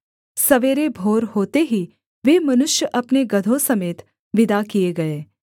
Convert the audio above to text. सवेरे भोर होते ही वे मनुष्य अपने गदहों समेत विदा किए गए